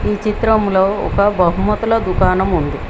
ఈ చిత్రంలో ఒక బహుమతుల దుకాణం ఉంది.